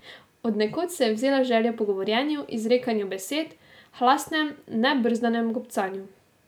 Od nekod se je vzela želja po govorjenju, izrekanju besed, hlastnem, nebrzdanem gobcanju.